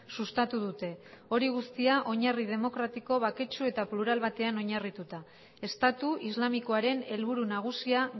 sustatu dute hori guztia oinarri demokratiko baketsu eta plural batean oinarrituta estatu islamikoaren helburu nagusia